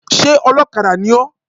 Sé olókadà ni ó?